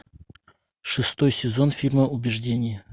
шестой сезон фильма убеждение